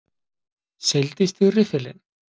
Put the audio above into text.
Seildist í riffilinn.